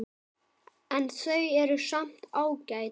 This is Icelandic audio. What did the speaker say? En þau eru samt ágæt.